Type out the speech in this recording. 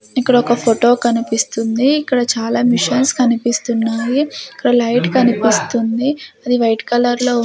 ఇక్కడ ఒక ఫోటో కనిపిస్తుంది ఇక్కడ చాలా మిషన్స్ కనిపిస్తున్నాయి ఇక్కడ లైట్ కనిపిస్తుంది అది వైట్ కలర్ లో .